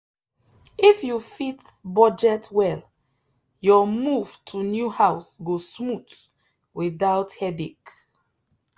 if you fit budget well your move to new house go smooth without headache.